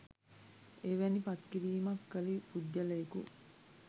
එවැනි පත්කිරීමක් කළ පුද්ගලයකු